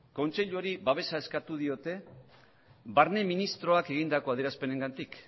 kontseiluari babesa eskatu diote barne ministroak egindako adierazpenengatik